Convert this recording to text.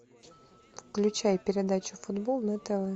включай передачу футбол на тв